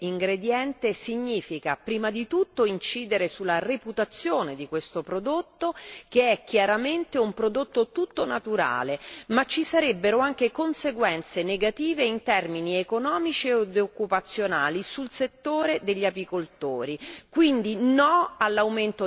Classificare il polline come ingrediente significa, prima di tutto, incidere sulla reputazione di questo prodotto, che è chiaramente un prodotto tutto naturale. Ma ci sarebbero anche conseguenze negative in termini economici e occupazionali sul settore degli apicoltori.